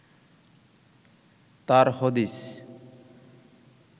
তার হদিস